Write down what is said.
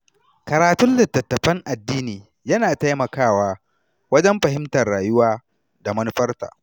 Karatun littattafan addini yana taimakawa wajen fahimtar rayuwa da manufarta.